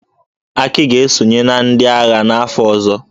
Aki ga-esonye na ndị agha n'afọ ọzọ.